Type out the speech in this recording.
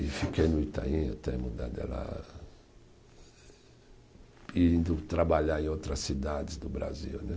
E fiquei no Itaim até mudar de lá, e indo trabalhar em outras cidades do Brasil né.